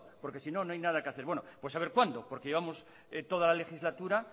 porque si no no hay nada que hacer bueno pues a ver cuándo porque llevamos toda la legislatura